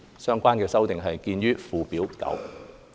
相關修訂見於附表9。